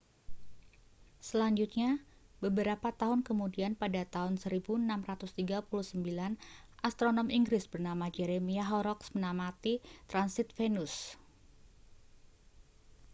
selanjutnya beberapa tahun kemudian pada tahun 1639 astronom inggris bernama jeremiah horrocks mengamati transit venus